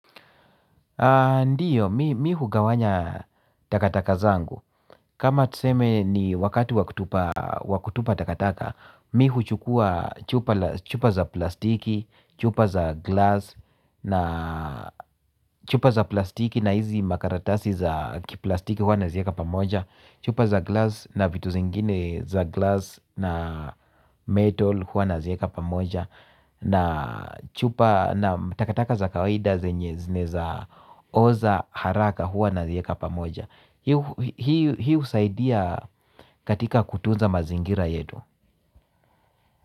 Ndiyo mimi hugawanya takataka zangu kama tuseme ni wakati wa kutupa takataka mimi huchukua chupa za plastiki chupa za glass na chupa za plastiki na hizi makaratasi za plastiki huwa nazieka pamoja chupa za glass na vitu zingine za glass na metal huwa nazieka pamoja. Na chupa na matakataka za kawaida zenye zinaeza oza haraka huwa nazieka pamoja. Hii husaidia katika kutunza mazingira yetu.